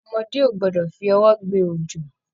Ọmọdé o gbọdọ fi ọwọ gbé ojo.